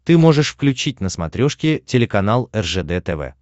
ты можешь включить на смотрешке телеканал ржд тв